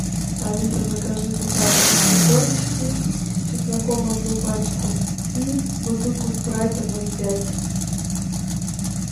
алиса закажи сухарики три корочки с чесноком одну пачку и бутылку спрайта ноль пять